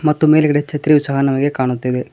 ಮತ್ತು ಮೇಲ್ಗಡೆ ಛತ್ರಿಯು ಸಹ ನಮಗೆ ಕಾಣುತ್ತಿದೆ.